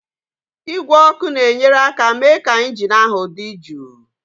Igwe ọkụ na-enyere aka mee ka injin ahụ dị jụụ.